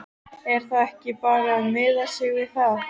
Er þá ekki bara að miða sig við það?